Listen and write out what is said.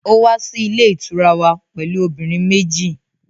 Ó wá sí ilé ìtura wa pẹ̀lú obìnrin méjì